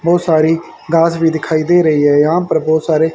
बहोत सारी घास भी दिखाई दे रही है यहा पर बहोत सारे--